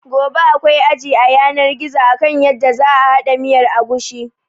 Gobe akwai aji a yanar gizo akan yadda za a haɗa miyar agushi.